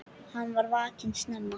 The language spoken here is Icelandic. Hann var vakinn snemma.